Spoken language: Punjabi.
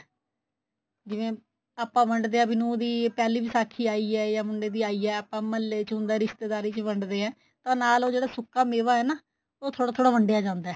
ਜਿਵੇਂ ਆਪਾਂ ਵੰਡਦੇ ਆ ਵੀ ਨੂੰਹ ਦੀ ਪਹਿਲੀ ਵਿਸਾਖੀ ਆਈ ਏ ਜਾਂ ਮੁੰਡੇ ਦੀ ਐ ਏ ਆਪਾਂ ਮਹੱਲੇ ਹੁੰਦਾ ਰਿਸ਼ਤੇਦਾਰੀ ਚ ਵੰਡਦੇ ਏ ਤਾਂ ਨਾਲ ਉਹ ਜਿਹੜਾ ਸੁੱਕਾ ਮੇਵਾ ਏ ਨਾ ਉਹ ਥੋੜਾ ਥੋੜਾ ਵੰਡਿਆ ਜਾਂਦਾ